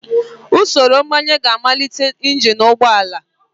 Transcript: Usoro mgbanye ga-amalite injin ụgbọ ala.